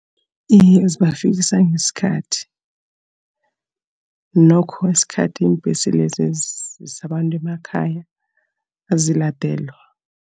Iye, zibafikisa ngesikhathi. Nokho isikhathi iimbhesi lezi ezisa abantu emakhaya, aziladelwa.